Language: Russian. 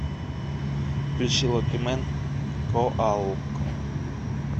включи локимэн коалко